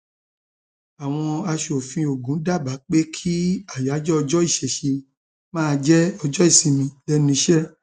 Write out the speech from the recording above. àwọn aṣòfin ogun dábàá pé kí ayájọ ọjọ ìṣẹṣẹ máa jẹ ọjọ ìsinmi lẹnu iṣẹ